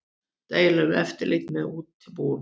Deila um eftirlit með útibúum